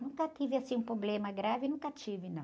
Nunca tive, assim, um problema grave, nunca tive, não.